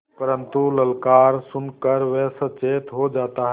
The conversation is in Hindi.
परन्तु ललकार सुन कर वह सचेत हो जाता है